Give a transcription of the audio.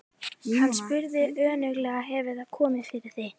Hann spurði önuglega: Hefur það komið fyrir þig?